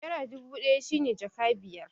Naira dubu ɗaya shi ne jaka biyar